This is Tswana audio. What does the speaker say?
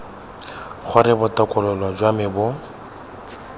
gore botokololo jwa me bo